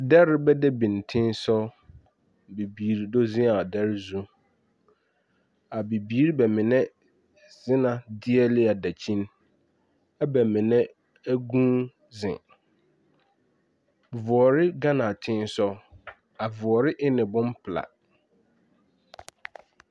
Dɛre ba de biŋ tẽ-sog. Bibiiri do zeŋ a dɛre zũ. A bibiiri bɛ mine zena deɛle a dakyini, ɛ bɛ mine ɛ gũũ zeŋ. Voɔre gana tẽ-sog. A voɔre en pelaa.